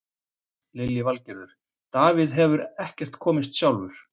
Lillý Valgerður: Davíð hefur ekkert komist sjálfur?